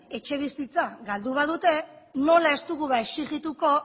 etxebizitza galdu badute nola ez dugu exigituko